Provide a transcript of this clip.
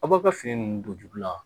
A b'a ka fini nunnu don jugu la